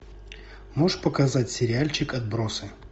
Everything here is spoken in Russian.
можешь показать сериальчик отбросы